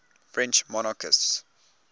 french monarchists